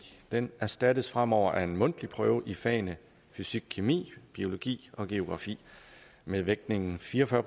den erstattes fremover af en mundtlig prøve i fagene fysikkemi biologi og geografi med vægtningen fire og fyrre